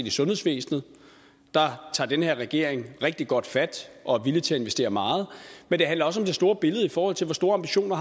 i sundhedsvæsenet der tager den her regering rigtig godt fat og er villig til at investere meget men det handler også om det store billede i forhold til hvor store ambitioner